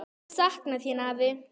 Ég sakna þín, afi.